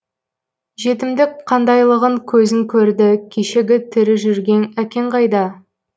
жетімдік қандайлығын көзің көрді кешегі тірі жүрген әкең қайда